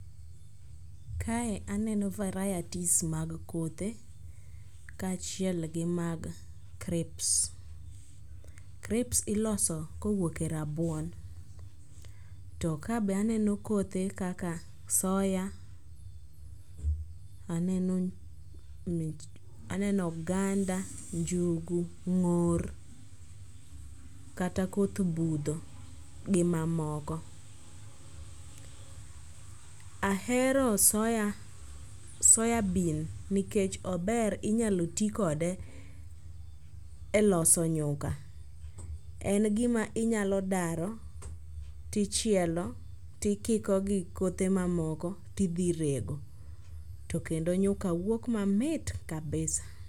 Kae aneno varieties mag kothe kaachiel gi mag crips, crips iloso kowuok e rabuon to kabe aneno kothe kaka soya, aneno oganda, njugu, ng'or kata koth budho gi mamoko. Ahero soya bean nikech ober inyalo ti kode e loso nyuka en gima inyalo daro tichielo tikiko gi kothe mamoko tidhi irego to kendo nyuka wuok mamit kabisa.